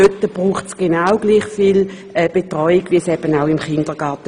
Dort braucht es genau gleich viel Betreuung wie im Kindergarten.